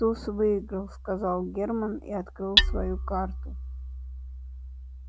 туз выиграл сказал германн и открыл свою карту